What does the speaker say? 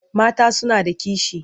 Mata suna da kishi.